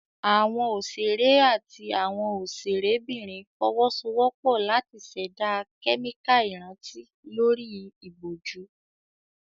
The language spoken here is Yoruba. Àwọn òṣèré àti àwọn òṣèrébìnrin fọwọ́sowọ́pọ̀ láti ṣẹ̀dá kẹ́míkà ìrántí lórí ìbòjú.